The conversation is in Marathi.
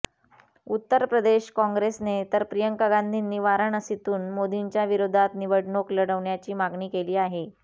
उत्तरप्रदेश काँग्रेसने तर प्रियंका गांधींनी वाराणसीतून मोदींच्या विरोधात निवडणूक लढवण्याची मागणी केली आहे